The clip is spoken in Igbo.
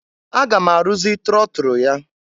Aga m arụzị trọtụrụ ya.